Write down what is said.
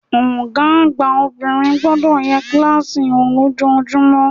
Ògá àgbà obìnrin gbodò ye kílàsì wò lójojúmó